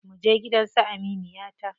Muje gidan su aminiyata.